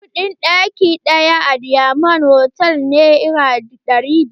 Kuɗin ɗaki ɗaya a dimond hotal nera ɗari biyu.